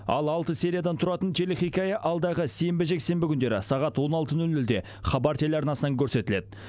ал алты сериядан тұратын телехикая алдағы сенбі жексенбі күндері сағат он алты нөл нөлде хабар телеарнасынан көрсетіледі